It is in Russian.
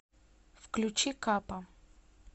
включи капа